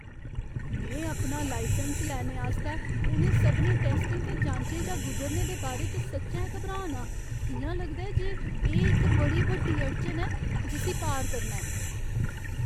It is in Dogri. में अपना लाइसैंस लैने आस्तै उ'नें सभनें टैस्टें ते जांचें चा गुजरने दे बारे च सच्चैं घबरा ना आं। इ'यां लगदा ऐ जे एह् इक बड़ी बड्डी अड़चन ऐ जिस्सी पार करना ऐ।